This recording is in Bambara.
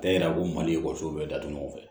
Tɛ yira ko maliso bɛɛ datugu ɲɔgɔn fɛ